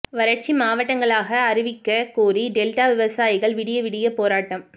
வறட்சி மாவட்டங்களாக அறிவிக்கக் கோரி டெல்டா விவசாயிகள் விடிய விடிய போராட்டம்